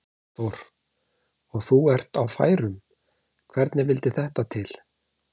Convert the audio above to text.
Hafþór: Og þú ert á færum, hvernig vildi þetta til?